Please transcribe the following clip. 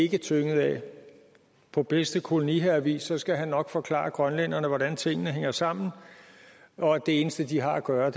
ikke tynget af på bedste koloniherrevis skal han nok forklare grønlænderne hvordan tingene hænger sammen og at det eneste de har at gøre